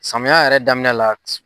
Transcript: Samiya yɛrɛ daminɛ la